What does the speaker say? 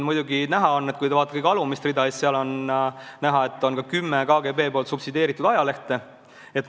Kui te vaatate kõige alumist rida, siis näete, et on ka kümme KGB subsideeritud ajalehte.